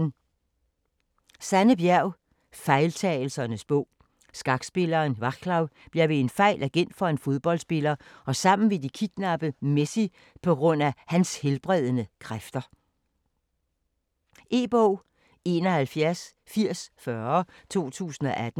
Bjerg, Sanne: Fejltagelsernes bog Skakspilleren Vaclav bliver ved en fejl agent for en fodboldspiller og sammen vil de kidnappe Messi pga. hans helbredende kræfter. E-bog 718040 2018.